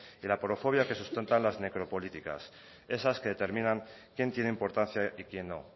y la aporofobia que se sustentan las necropolíticas esas que determinan quién tiene importancia y quién no